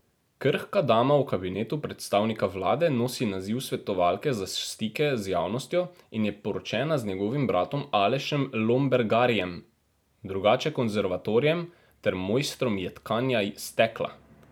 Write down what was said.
Krhka dama v kabinetu predsednika vlade nosi naziv svetovalke za stike z javnostjo in je poročena z njegovim bratom Alešem Lombergarjem, drugače konzervatorjem ter mojstrom jedkanja stekla.